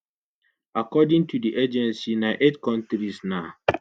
according to di agency na eight kontris na